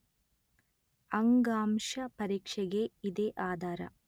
ಅಂಗಾಂಶ ಪರೀಕ್ಷೆಗೆ ಇದೇ ಆಧಾರ